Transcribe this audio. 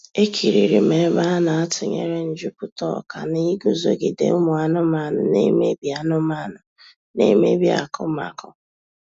Ekiriri m ebe a na-atunyere njuputa ọka na iguzogide ụmụ anụmanụ na emebi anụmanụ na emebi akụmakụ